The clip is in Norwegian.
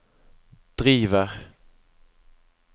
driver